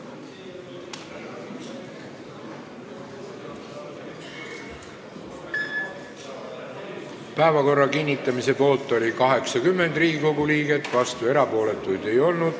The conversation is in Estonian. Hääletustulemused Päevakorra kinnitamise poolt oli 80 Riigikogu liiget, vastuolijaid ega erapooletuid ei olnud.